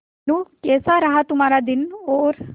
मीनू कैसा रहा तुम्हारा दिन और